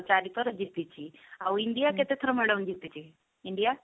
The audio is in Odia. ଚାରି ଥର ଜିତିଛି ଆଉ india କେତେଥର madam ଜିତିଛି india?